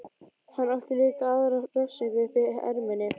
Hann átti líka aðra refsingu uppi í erminni.